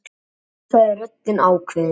Já, sagði röddin ákveðin.